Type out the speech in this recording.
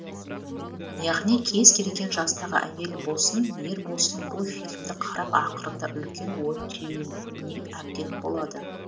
яғни кез келген жастағы әйел болсын ер болсын бұл фильмді қарап ақырында үлкен ой жеүюіне әбден болады